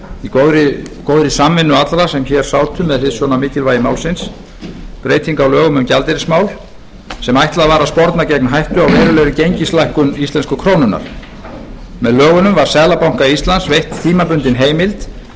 í góðri samvinnu allra sem hér sátu með hliðsjón af mikilvægi málsins breyting á lögum um gjaldeyrismál sem ætlað var að sporna gegn hættu á verulegri gengislækkun íslensku krónunnar með lögunum var seðlabanka íslands veitt tímabundin heimild til